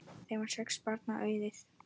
Þeim varð sex barna auðið.